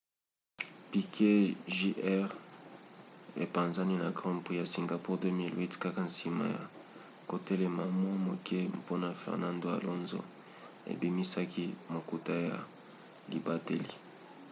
piquet jr. epanzani na grand prix ya singapour 2008 kaka nsima ya kotelema mwa moke mpona fernando alonso ebimisaki motuka ya libateli